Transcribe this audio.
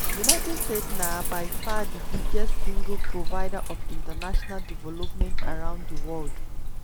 united states na by far di biggest single provider of international development around di world.